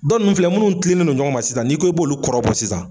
Dɔn nunnu filɛ munnu tilennen don ɲɔgɔn ma sisan n'i ko i b'olu kɔrɔbɔ sisan